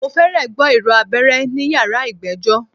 Mo fẹ́rẹ̀ gbọ́ ìró abẹ́rẹ́ ní yàrá ìgbẹ́jọ́.